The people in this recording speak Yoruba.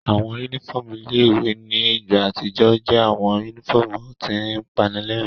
Awọn unifọmú ile-iwe ni igba atijọ ǹ jẹ awọn unifọmu tin panilẹrin